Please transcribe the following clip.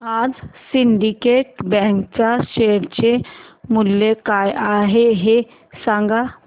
आज सिंडीकेट बँक च्या शेअर चे मूल्य काय आहे हे सांगा